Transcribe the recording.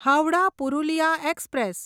Howrah Purulia express